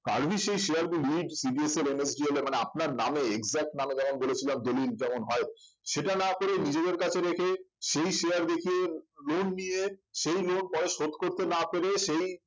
কার্ভি সেই share গুলি CDSL, NSDL এ মানে আপনার নামে exact নামে যেমন বলে ছিলাম দলিল যেমন হয় সেটা না করে নিজেদের কাছে রেখে সেই share দেখিয়ে loan নিয়ে সেই loan পরে শোধ করতে না পেরে সেই